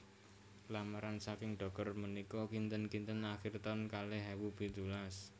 Lamaran saking dokter menika kinten kinten akhir taun kalih ewu pitulas